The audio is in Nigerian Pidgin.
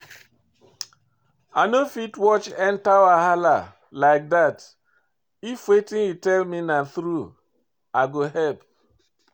I no fit watch enter wahala like dat, if wetin you tell me na through, i go help.